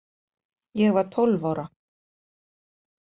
Ég var tólf ára.